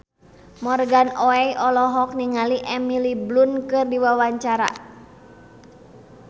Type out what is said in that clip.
Morgan Oey olohok ningali Emily Blunt keur diwawancara